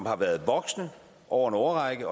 har været voksende over en årrække